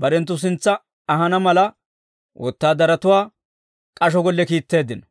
barenttu sintsa ahana mala, wotaadaratuwaa k'asho golle kiitteeddino.